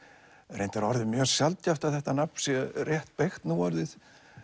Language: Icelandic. reyndar orðið mjög sjaldgæft að þetta nafn sé rétt beygt núorðið